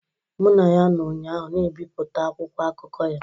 Mụ na ya nọ ụnyaahụ na-ebipụta akwụkwọ akụkọ ya.